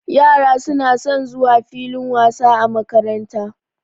Yara suna son zuwa filin wasa a makaranta.